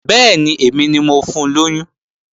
Bẹ́ẹ̀ni, èmi ni mo fun lóyún